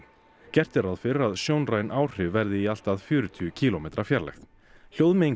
gert er ráð fyrir að sjónræn áhrif verði í allt að fjörutíu kílómetra fjarlægð